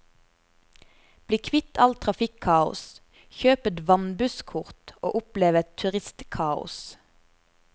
Bli kvitt all trafikkaos, kjøp et vannbusskort og opplev et turistkaos.